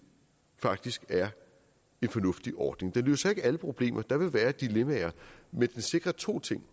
faktisk er en fornuftig ordning den løser ikke alle problemer for der vil være dilemmaer men den sikrer to ting